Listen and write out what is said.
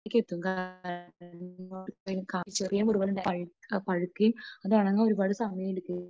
ചെറിയ മുറിവ് പോലും പഴുക്കുകയും അത് ഉണങ്ങാൻ ഒരുപാട് സമയം എടുക്കുകയും